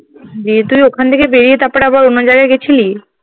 তুই ওখান থেকে বেরিয়ে তারপর আবার অন্য জায়গায় গেছিলি?